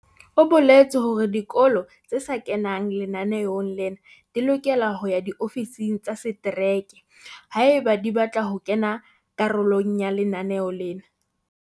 O boletse hore dikolo tse sa kengwang lenaneong lena di lokela ho ya diofising tsa setereke haeba di batla ho ba karolo ya lenaneo lena.